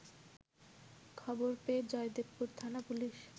খবর পেয়ে জয়দেবপুর থানা পুলিশ